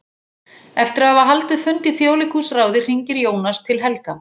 Eftir að hafa haldið fund í Þjóðleikhúsráði hringir Jónas til Helga.